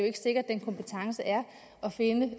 ikke sikkert at den kompetence er at finde